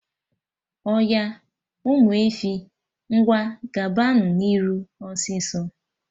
Oya, Ụmụ efi, ngwa gaba nụ n'iru, ọsịsọ!